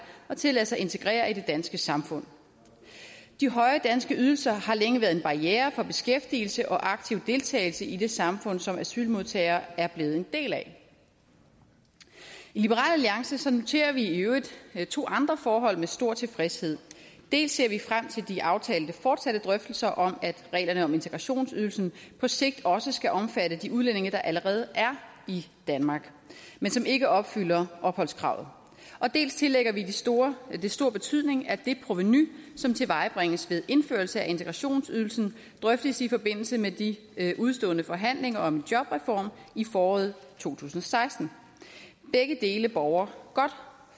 og til at lade sig integrere i det danske samfund de høje danske ydelser har længe været en barriere for beskæftigelse og aktiv deltagelse i det samfund som asylmodtagere er blevet en del af i liberal alliance noterer vi i øvrigt to andre forhold med stor tilfredshed dels ser vi frem til de aftalte fortsatte drøftelser om at reglerne om integrationsydelsen på sigt også skal omfatte de udlændinge der allerede er i danmark men som ikke opfylder opholdskravet og dels tillægger vi det stor det stor betydning at det provenu som tilvejebringes ved indførelse af integrationsydelsen drøftes i forbindelse med de udestående forhandlinger om en jobreform i foråret to tusind og seksten begge dele borger godt